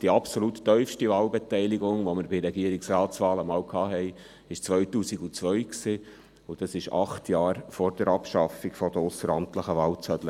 Die absolut tiefste Wahlbeteiligung, die wir einmal bei Regierungsratswahlen hatten, war im Jahr 2002, also acht Jahre vor der Abschaffung der ausseramtlichen Wahlzettel.